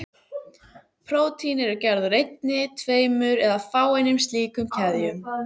Prótín eru gerð úr einni, tveimur eða fáeinum slíkum keðjum.